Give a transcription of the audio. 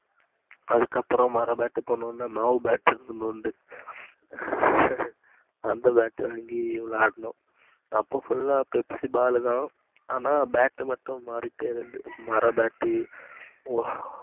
அதுக்கு அப்புறம் மர bat போனதும் மாவு bat கொண்டுவந்து அந்த bat வாங்கி விளையாண்டோம். அப்போ full ஆஹ் Pepsi ball தான் ஆனா bat மட்டும் மாறிக்கிட்டே இருந்துச்சு, மர bat ஹம்